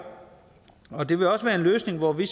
og det vil også være en løsning hvor vi